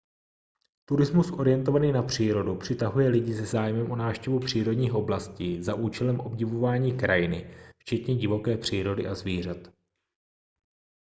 turismus orientovaný na přírodu přitahuje lidi se zájmem o návštěvu přírodních oblastí za účelem obdivování krajiny včetně divoké přírody a zvířat